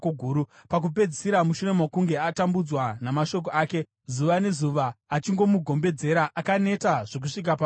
Pakupedzisira mushure mokunge atambudzwa namashoko ake, zuva nezuva, achimugombedzera, akaneta zvokusvika parufu.